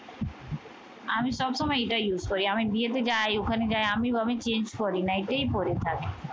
আমি সবসময় এটা use করি। আমি বিয়েতে যাই, ওখানে যাই আমি change করি না, এটাই পরে থাকি।